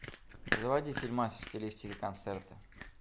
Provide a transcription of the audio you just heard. заводи фильмас в стилистике концерта